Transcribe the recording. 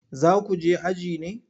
Za ku je aji ne?